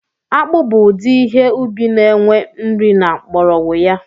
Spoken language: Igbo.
Akpụ bụ udi ihe ubi na enwe nri na mgbọrọgwụ ya